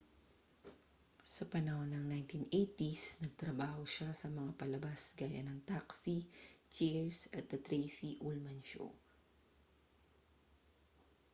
sa panahon ng 1980s nagtrabaho siya sa mga palabas gaya ng taxi cheers at the tracy ullman show